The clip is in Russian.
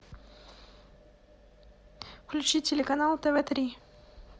включи телеканал тв три